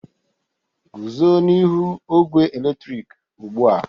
Guzo n'ihu ogwe eletrik ugbu a!